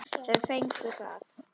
Þau fengu það.